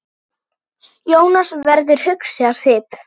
Jónas verður hugsi á svip.